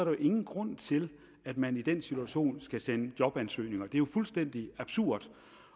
jo ingen grund til at man i den situation skal sende jobansøgninger det er jo fuldstændig absurd